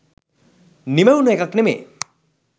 නිමැවුන එකක් නෙමේ.